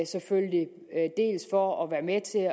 selvfølgelig for at være med til